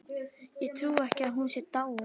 Ég trúi ekki að hún sé dáin.